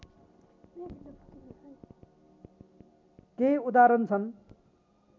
केही उदाहरण छन्